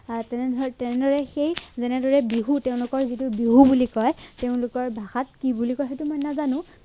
আহ তেনেদৰে তেনেদৰে সেই যেনেদৰে বিহু তেওঁলোকৰ যিটো বিহু বুলি কয় তেওঁলোকৰ ভাষাত কি বুলি কয় সেইটো মই নাজানো